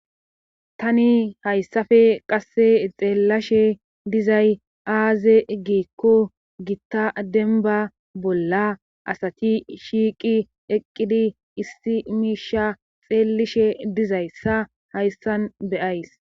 Tani hayssafe qasse xeellashe dizay aaze giikko gitta denba bolla asati shiiqi eqqidi issi miisha xeelishe dizayssa hayssan beyays